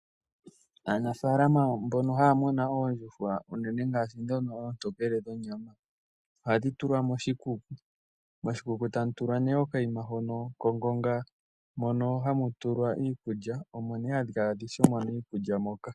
Aanafalama mbono haya munu oondjuhwa uunene ngaashi ndhono oontokele dhonyama, ohadhi tulwa moshikuku, moshikuku tamu tulwa nee okayima hono kongonga mono hamu tulwa iikulya omo nee hadhi kala tadhi shomona iikulya moka.